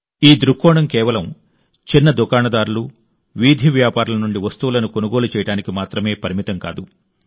ఈ దృక్కోణం కేవలం చిన్న దుకాణదారులు వీధి వ్యాపారుల నుండి వస్తువులను కొనుగోలు చేయడానికి మాత్రమే పరిమితం కాదు